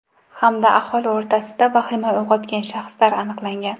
Hamda aholi o‘rtasida vahima uyg‘otgan shaxslar aniqlangan.